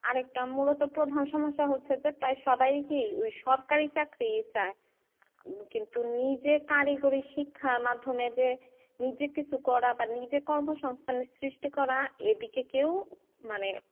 আরেকটা মুলত প্রধান সমস্যা হচ্ছে যে প্রায় সবাই কি ওই সরকারি চাকরি চায় কিন্তু নিজে কারিগরি শিক্ষার মাধ্যমে যে নিজে কিছু করা বা নিজে কর্ম সংস্থানের সৃষ্টি করা এদিকে কেউ মানে,